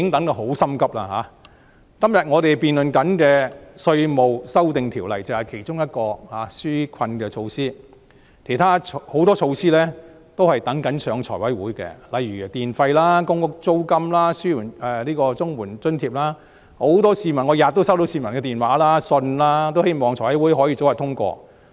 我們今天所辯論的稅務修訂條例就是其中一項紓困措施，還有很多措施正等待提交財務委員會審議，例如有關電費、公屋租金、綜援等津貼措施，我每天都收到市民的來電和來信，他們希望財委會可以早日通過。